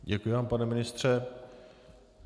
Děkuji vám, pane ministře.